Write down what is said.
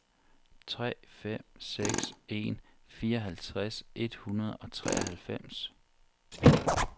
tre fem seks en fireoghalvtreds et hundrede og treoghalvfems